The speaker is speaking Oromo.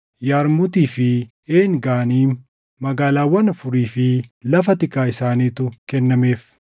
Yarmuutii fi Een Ganiim, magaalaawwan afurii fi lafa tikaa isaaniitu kennameef;